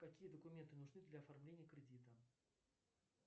какие документы нужны для оформления кредита